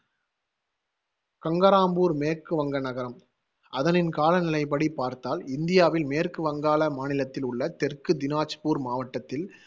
கங்கராம்பூர் மேற்கு வங்க நகரம் அதனின் காலநிலைப்படி பார்த்தால் இந்தியாவில் மேற்கு வங்காள மாநிலத்தில் உள்ள தெற்கு தினஜ்பூர் மாவட்டத்தில்